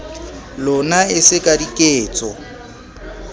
lona e se ka diketso